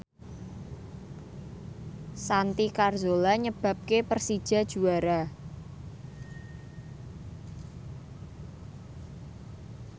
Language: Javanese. Santi Carzola nyebabke Persija juara